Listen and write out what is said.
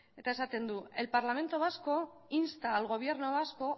eta esaten du el parlamento vasco insta al gobierno vasco